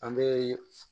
An bɛ